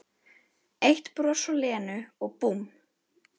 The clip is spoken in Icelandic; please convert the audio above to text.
Eitt bros frá Lenu og búmm